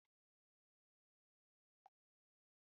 An yi amfani da wurri a baya azaman nau'in kuɗi a cikin ciniki da kuma ƙidaya.